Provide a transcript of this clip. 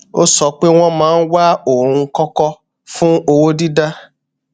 ó sọ pé wọn máa ń wá oun kọkọ fún owó dídá